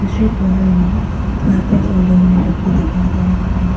दूसरे कॉर्नर में कारपेट और डोर मेट लोग भी दिखाई दे रहा है।